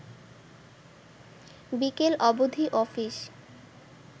বিকেল অবধি অফিস